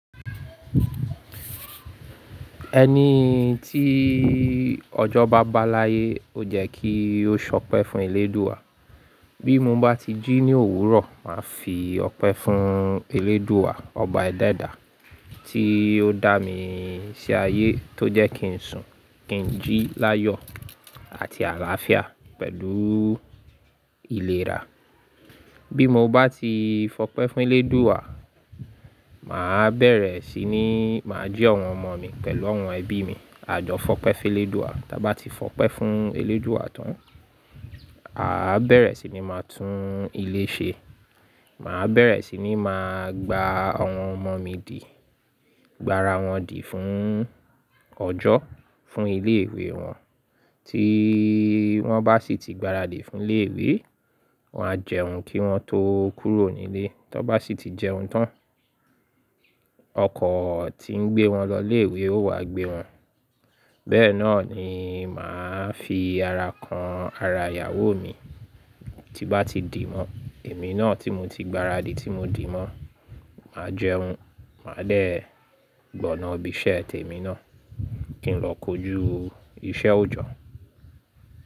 Ẹni tí ọjọ́ bá báláyé ó jẹ́ kí ó ṣọpẹ́ fún Elédùa. Bí mo bá ti jí ní òwúrọ̀, màá fi ọpẹ́ fún Elédùa, ọba Ẹlẹ́dà, tí ó dá mi sí ayé tó jẹ́ kí n sùn, kí n jí láyọ̀ àti àlàáfíà pẹ̀lú ìlera. Bí mo bá ti fọpẹ́ fún Elédùa, màá bẹ̀rẹ̀ sí ní màá jí àwọn ọmọ mi pẹ̀lú àwọn ẹbí mi àjọ fọpẹ́ fún Elédùa. Tábá ti fọpẹ́ fún Elédùa tán, àá bẹ̀rẹ̀ sí ní máa tún ilé ṣe. Màá bẹ̀rẹ̀ sí ní máa gba àwọn ọmọ mi dì, gbára wọn dì fún ọjọ́, fún ilé ìwé wọn. Tí wọ́n bá sì ti gbára dì fún ilé ìwé, wọ́n á jẹun kí wọ́n tó kúrò nílé. Tóbá sì ti jẹun tán, ọkọ̀ tí ń gbé wọn lọ ilé ìwé ó wá gbé wọn. Bẹ́ẹ̀ náà ni màá fi ara kan ara ìyàwó mi. Tí bá ti dì mọ́, èmi náà tí mo ti gbára dì tí mo dì mọ́, màá jẹun. Màá dé gbọ̀nà ibí iṣẹ́ tèmi náà kí n lọ kojú iṣẹ́ òjọ́